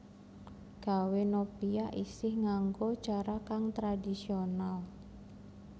Gawè nopia isih nganggo cara kang tradisional